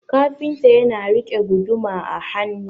kafinta yana rike guduma a hannu